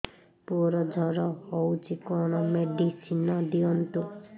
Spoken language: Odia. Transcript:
ପୁଅର ଜର ହଉଛି କଣ ମେଡିସିନ ଦିଅନ୍ତୁ